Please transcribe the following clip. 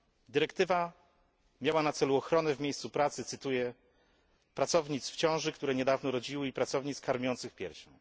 Dyrektywa miała na celu ochronę w miejscu w pracy, cytuję, pracownic w ciąży, które niedawno rodziły i pracownic karmiących piersią.